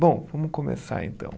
Bom, vamos começar então.